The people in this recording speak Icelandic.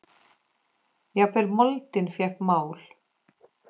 Jafnvel moldin fékk mál.